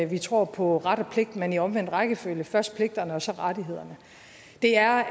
vi tror på ret og pligt men i omvendt rækkefølge først kommer pligterne og så rettighederne det er